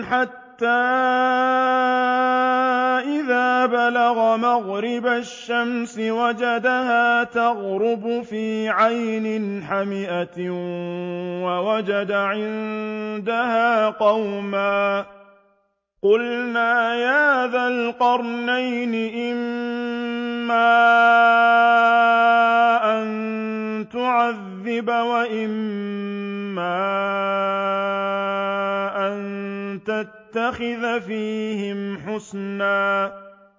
حَتَّىٰ إِذَا بَلَغَ مَغْرِبَ الشَّمْسِ وَجَدَهَا تَغْرُبُ فِي عَيْنٍ حَمِئَةٍ وَوَجَدَ عِندَهَا قَوْمًا ۗ قُلْنَا يَا ذَا الْقَرْنَيْنِ إِمَّا أَن تُعَذِّبَ وَإِمَّا أَن تَتَّخِذَ فِيهِمْ حُسْنًا